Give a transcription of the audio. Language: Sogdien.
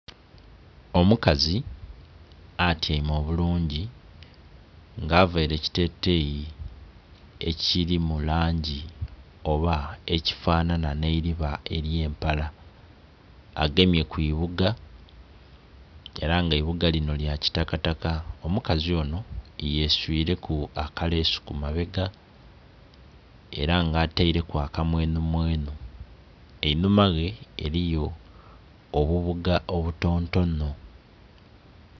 Omukazi atyaime obulungi nga avaire ekiteteyi ekili mu langi oba ekifanana nhe eililiba elye'mpala agemye kwi buuga era nga eibuuga linho lili lya kitakataka. Omukazi onho ye swireku akalesu ku mabega era nga ateireku akamwenhu mwenhu einhuma ghe eriyo obubuuga obu tonotono.